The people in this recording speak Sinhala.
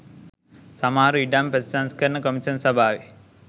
සමහරු ඉඩම් ප්‍රතිසංස්කරණ කොමිෂන් සභාවෙ